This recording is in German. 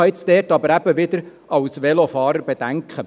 Dort habe ich jetzt eben als Velofahrer wieder bedenken.